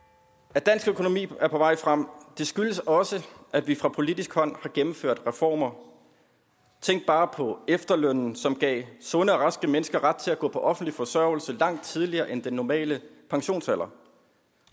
at dansk økonomi er på vej frem skyldes også at vi fra politisk hold har gennemført reformer tænk bare på efterlønnen som gav sunde og raske mennesker ret til at gå på offentlig forsørgelse langt tidligere end den normale pensionsalder